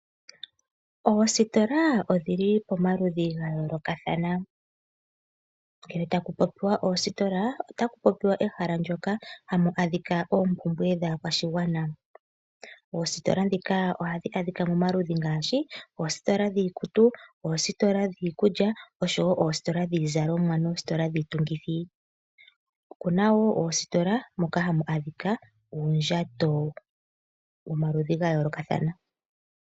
Oositola odhili pomaludhi ga yoolokathana. Ngele taku popiwa oositola otaku popiwa ehala ndyoka hamu adhika oompumbwe dhaa kwashigwana. Oositila dhika ohadhi adhika momaludhi ngaashi oositola dhiikutu, oositola dhiikulya osho woo oositola dhiizalomwa nosho woo dhiitungithi, okuna woo oositola moka hamu adhikwa uundjato womaludhi nomaludhi.